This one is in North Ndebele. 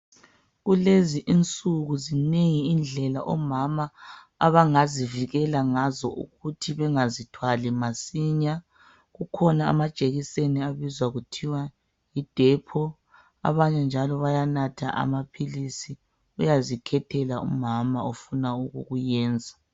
Kulezi insuku zinengi indlela omama abangazivikela ngazo ukuthi bangazithwali masinya kukhona amajekiseni abizwa kuthiwa yidepho abanye njalo bayanatha amaphilisi uyazikhethela umama afika ukukwenza